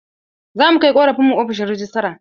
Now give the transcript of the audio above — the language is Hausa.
Za mu kai ƙorafin mu ofishin rejistra.